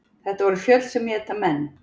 Þetta voru fjöll sem éta menn.